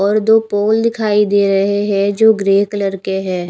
पर दो पोल दिखाई दे रहे हैं जो ग्रे कलर के हैं।